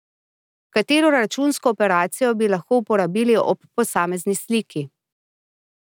Katero računsko operacijo bi lahko uporabili ob posamezni sliki?